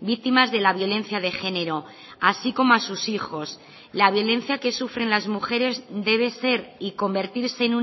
víctimas de la violencia de género así como a sus hijos la violencia que sufren las mujeres debe ser y convertirse en